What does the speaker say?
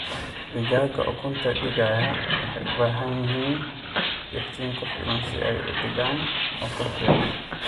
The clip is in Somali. Digaagga ukunta dhigaya waxay u baahan yihiin iftiin ku filan si ay u dhigaan ugu fiican.